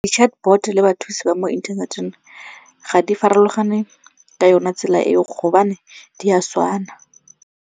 Di-chatbot le bathusi ba mo inthaneteng ga di farologane ka yone tsela e go gobane di a tshwana.